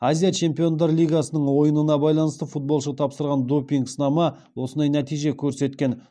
азия чемпиондар лигасының ойынына байланысты футболшы тапсырған допинг сынама осындай нәтиже көрсеткен